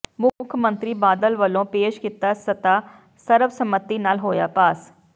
ਮੁੱਖ ਮੰਤਰੀ ਬਾਦਲ ਵੱਲੋਂ ਪੇਸ਼ ਕੀਤਾ ਮਤਾ ਸਰਬਸੰਮਤੀ ਨਾਲ ਹੋਇਆ ਪਾਸ